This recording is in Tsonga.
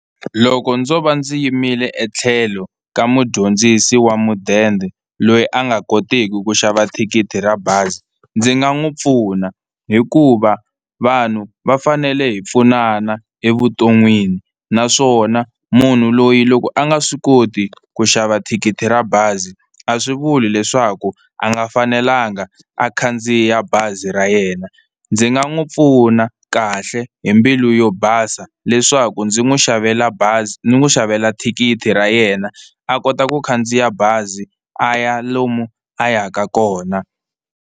Loko ndzo va ndzi yimile etlhelo ka mudyondzisi wa mudende loyi a nga kotiki ku xava thikithi ra bazi ndzi nga n'wi pfuna hikuva vanhu va fanele hi pfunana evuton'wini, naswona munhu loyi loko a nga swi koti ku xava thikithi ra bazi a swi vuli leswaku a nga fanelanga a khandziya bazi ra yena, ndzi nga n'wi pfuna na kahle hi mbilu yo basa leswaku ndzi n'wi xavela bazi ni n'wi xavela thikithi ra yena a kota ku khandziya bazi a ya lomu a yaka kona.